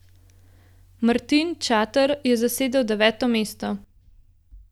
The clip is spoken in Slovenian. Martin Čater je zasedel deveto mesto.